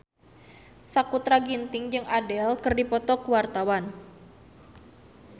Sakutra Ginting jeung Adele keur dipoto ku wartawan